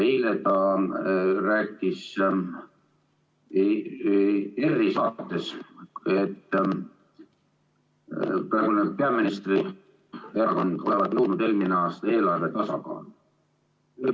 Eile ta rääkis ERR‑i saates, et praeguse peaministri erakond olevat nõudnud eelmine aasta eelarve tasakaalu.